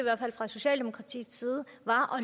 fra socialdemokratiets side